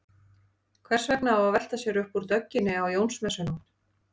Hvers vegna á að velta sér upp úr dögginni á Jónsmessunótt?